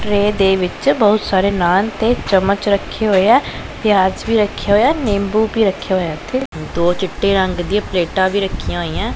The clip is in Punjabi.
ਟਰੇ ਦੇ ਵਿੱਚ ਬਹੁਤ ਸਾਰੇ ਨਾਨ ਤੇ ਚੱਮਚ ਰੱਖੇ ਹੋਏ ਹੈ ਪਿਆਜ ਵੀ ਰੱਖਿਆ ਹੋਇਆ ਨੀਂਬੂ ਵੀ ਰੱਖਿਆ ਹੋਇਆ ਇੱਥੇ ਦੋ ਚਿੱਟੇ ਰੰਗ ਦਿਆਂ ਪਲੇਟਾਂ ਵੀ ਰੱਖੀਆਂ ਹੋਈਆਂ ਹੈਂ।